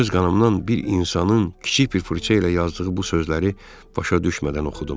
Öz qanımdan bir insanın kiçik bir fırça ilə yazdığı bu sözləri başa düşmədən oxudum.